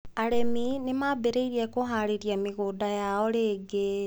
Arĩmi nĩ maambĩrĩirie kũhaarĩria mĩgũnda yao rĩngĩ.